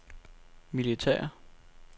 militære